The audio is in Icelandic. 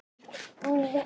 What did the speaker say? Nýr hlátur.